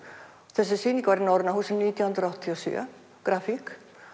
þessi sýning var í Norræna húsinu nítján hundruð áttatíu og sjö grafík